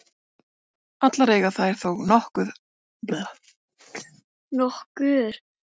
Allar eiga þær þó nokkur atriði sameiginleg.